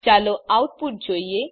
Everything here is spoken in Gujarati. ચાલો આઉટપુટ જોઈએ